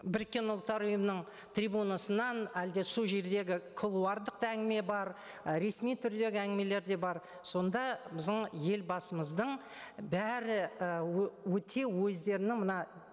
біріккен ұлттар ұйымының трибунасынан әлде сол жердегі кулуардық да әңгіме бар і ресми түрдегі әңгімелер де бар сонда біздің елбасымыздың бәрі ы өте өздерінің мына